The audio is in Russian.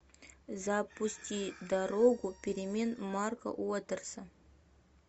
запусти дорогу перемен марка уотерса